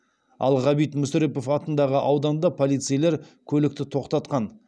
ал ғабит мүсірепов атындағы ауданда полицейлер көлікті тоқтатқан